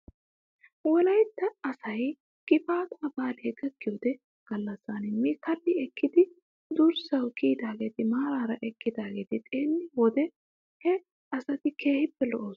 Wolaytta asay gifaataa baalay gakkido gallassan mi kalli ekkidi durssaw kiyidaageeti maaraa eqqidaageeti xeelliyyoo wode he asati keehippe lo'oosona .